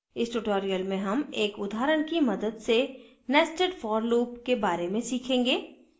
इस tutorial में हम एक उदाहरण की मदद से nested for loop के बारे में सीखेंगे